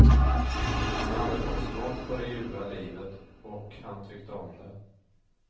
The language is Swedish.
Han hade fått smak på det ljuva livet, och han tyckte om det.